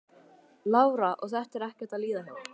Lára: Og þetta er ekkert að líða hjá?